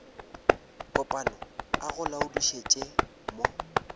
kopana a go laodišetša mo